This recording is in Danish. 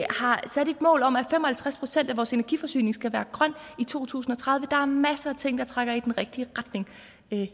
har sat et mål om at fem og halvtreds procent af vores energiforsyning skal være grøn i to tusind og tredive der er masser af ting der trækker i den rigtige retning og